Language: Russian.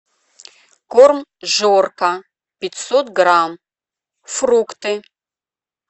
корм жорка пятьсот грамм фрукты